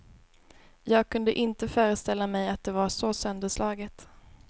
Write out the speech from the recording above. Jag kunde inte föreställa mig att det var så sönderslaget.